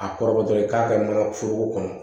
A kɔrɔbɔtɔ ye k'a kɛ mana foroko kɔnɔ